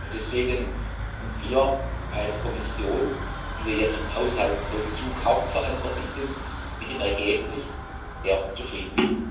Deswegen sind wir als Kommission, die wir ja für den Haushaltsvollzug hauptverantwortlich sind, mit dem Ergebnis sehr zufrieden.